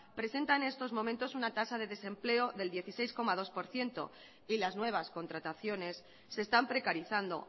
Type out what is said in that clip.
presenta en estos momentos una tasa de desempleo del dieciséis coma dos por ciento y las nuevas contrataciones se están precarizando